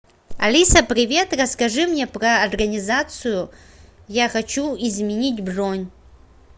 алиса привет расскажи мне про организацию я хочу изменить бронь